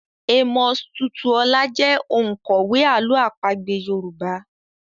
Amos Tutuola jẹ́ òǹkọ̀wé àlọ́ àpagbé Yorùbá.